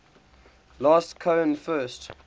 last cohen first